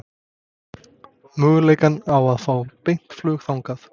Möguleikana á að fá beint flug þangað?